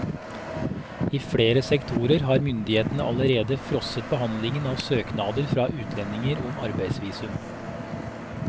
I flere sektorer har myndighetene allerede frosset behandlingen av søknader fra utlendinger om arbeidsvisum.